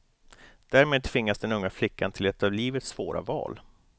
Därmed tvingas den unga flickan till ett av livets svåra val.